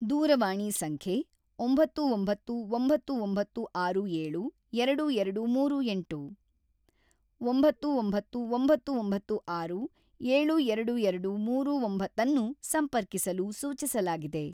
ದೂರವಾಣಿ ಸಂಖ್ಯೆ ಒಂಬತ್ತು ಒಂಬತ್ತು ಒಂಬತ್ತು ಒಂಬತ್ತು ಆರು ಏಳು ಎರಡು ಎರಡು ಮೂರು ಎಂಟು / ಒಂಬತ್ತು ಒಂಬತ್ತು ಒಂಬತ್ತು ಒಂಬತ್ತು ಆರು ಏಳು ಎರಡು ಎರಡು ಮೂರು ಒಂಬತ್ತನ್ನು ಸಂಪರ್ಕಿಸಲು ಸೂಚಿಸಲಾಗಿದೆ.